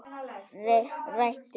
Réttu megin?